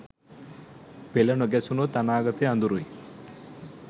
පෙළ නොගැසුනොත් අනාගතය අඳුරුයි